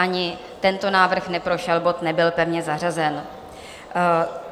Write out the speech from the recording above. Ani tento návrh neprošel, bod nebyl pevně zařazen.